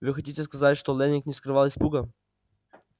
вы хотите сказать что лэннинг не скрывал испуга